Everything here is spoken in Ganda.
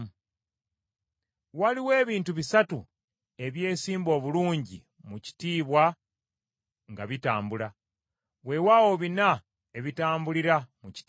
Waliwo ebintu bisatu ebyesimba obulungi mu kitiibwa nga bitambula, weewaawo bina ebitambulira mu kitiibwa: